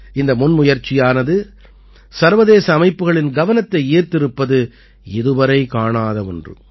இந்த முன்முயற்சியானது சர்வதேச அமைப்புக்களின் கவனத்தை ஈர்த்திருப்பது இதுவரை காணாத ஒன்று